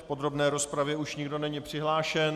V podrobné rozpravě už nikdo není přihlášen.